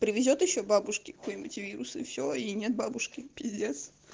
привезёт ещё бабушке какой-нибудь вирус и все и нет бабушки пиздец